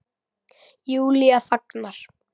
Júlía þagnar.